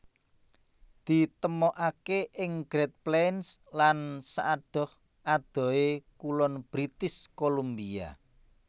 Ditemokaké ing Great Plains lan saadoh adohé kulon British Columbia